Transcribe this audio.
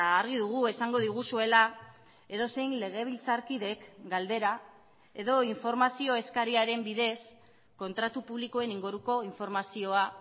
argi dugu esango diguzuela edozein legebiltzarkidek galdera edo informazio eskariaren bidez kontratu publikoen inguruko informazioa